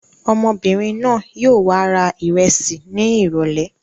Ọmọbìnrin náà yóò w ra ìrẹsì ní ìrọ́lẹ́.